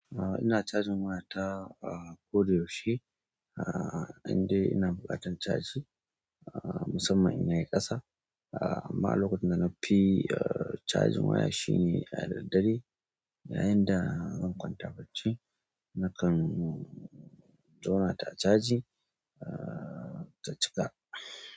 A'a ina cajin wayata a ko da yaushe. Ah a'a indai ina buƙatan caji. A'a musamman in yayi ƙasa. A'a amma lokacin da nafi a cajin waya shine a daddare. Yayin da zan kwanta bacci nakan jona ta caji a ta cika.